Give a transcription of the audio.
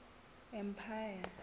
empire